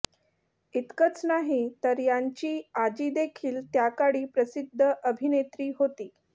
इतकंच नाही तर यांची आजी देखील त्याकाळी प्रसिद्ध अभिनेत्री होती